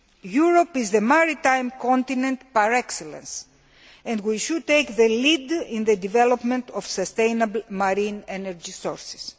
Europe is the maritime continent par excellence and we should take the lead in the development of sustainable marine energy sources.